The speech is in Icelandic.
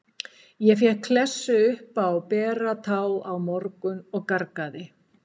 Ég fékk klessu upp á bera tá í morgun og gargaði.